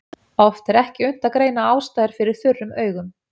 Oft er ekki unnt að greina ástæður fyrir þurrum augum.